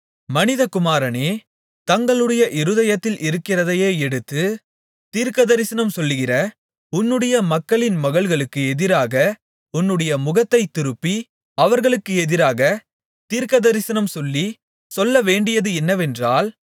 மனிதகுமாரனே தங்களுடைய இருதயத்தில் இருக்கிறதையே எடுத்து தீர்க்கதரிசனம்சொல்லுகிற உன்னுடைய மக்களின் மகள்களுக்கு எதிராக உன்னுடைய முகத்தைத் திருப்பி அவர்களுக்கு எதிராக தீர்க்கதரிசனம் சொல்லி சொல்லவேண்டியது என்னவென்றால்